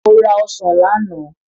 Mo ra ọsàn lánàá.